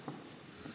Aitäh!